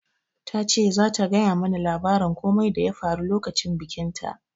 Ta ce zata gaya mu na labarin komai da ya faru lokacin bikin ta